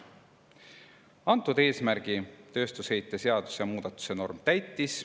Antud eesmärgi tööstusheite seaduse muudatus täitis.